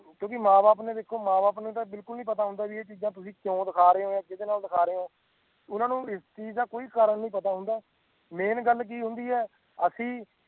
ਕਿਉ ਕਿ ਮਾਂ ਬਾਪ ਨੂੰ ਦੇਖੋ ਮਾਂ ਬਾਪ ਨੂੰ ਬਿਲਕੁਲ ਪਤਾ ਨਹੀਂ ਹੁੰਦਾ ਜੀ ਕਿ ਇਹ ਚੀਜ ਤੁਸੀ ਕਿਉ ਦਿਖਾ ਰਹੀਏ ਹੋ ਕਿਦੇ ਨਾਲ ਦਿਖਾ ਰਹੀਏ ਹੋ ਓਹਨਾ ਨੂੰ ਇਸ ਚੀਜ ਦਾ ਕੋਈ ਕਾਰਨ ਨਹੀਂ ਪਤਾ ਹੁੰਦਾ ਮੇਨ ਗੱਲ ਕਿ ਹੁੰਦੀ ਹੈ ਅਸੀਂ